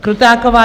Krutáková